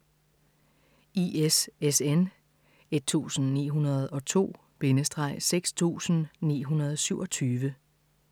ISSN 1902-6927